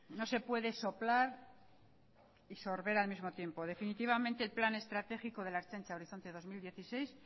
no se puede soplar y sorber al mismo tiempo definitivamente el plan estratégico de la ertzaintza horizonte dos mil dieciséis